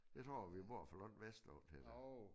Jeg tror vi bor for langt vestpå til det